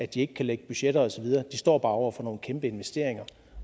de ikke kan lægge budgetter og så videre de står bare over for nogle kæmpe investeringer